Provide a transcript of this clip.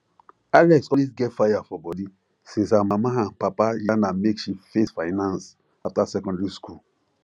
alex always get fire for body since her mama and papa yarn her make she face finance after secondary school